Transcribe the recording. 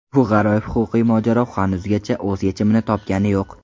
Bu g‘aroyib huquqiy mojaro hanuzgacha o‘z yechimini topgani yo‘q.